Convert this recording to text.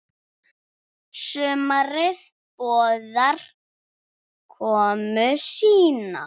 Sumarið boðar komu sína.